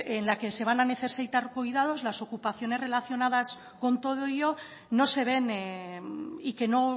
en la que se van a necesitar cuidados las ocupaciones relacionadas con todo ello no se ven y que no